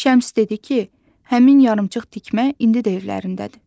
Şəms dedi ki, həmin yarımçıq tikmə indi də evlərindədir.